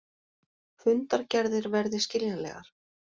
Fundargerðir verði skiljanlegar